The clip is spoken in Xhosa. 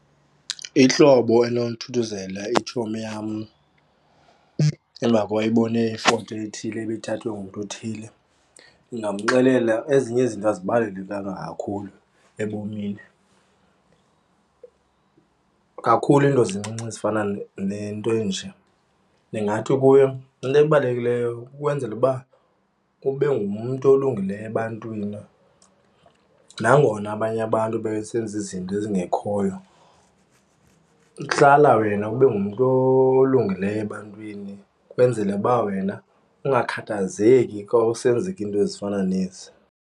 Ihlobo endinothuthuzela itshomi yam emva koba ebone ifoto ethile ebithathwe ngumntu othile, ndingamxelela ezinye izinto azibalulekanga kakhulu ebomini kakhulu izinto zincinci ezifana nento enje. Ndingathi kuyo into ebalulekileyo ukwenzela uba ube ngumntu olungileyo ebantwini nangona abanye abantu besenza izinto ezingekhoyo, hlala wena ube ngumntu olungileyo ebantwini kwenzele uba wena ungakhathazeki kawusenzeka into ezifana nezi.